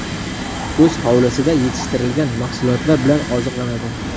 O‘z hovlisida yetishtirilgan mahsulotlar bilan oziqlanadi.